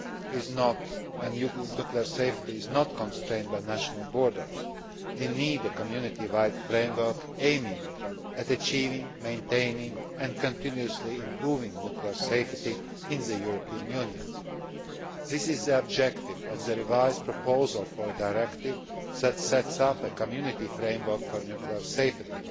is not constrained by national borders, we need a Community wide framework aiming at achieving, maintaining and continuously improving nuclear safety in the European Union. This is the objective of the revised proposal for a directive that sets up a Community framework for nuclear safety.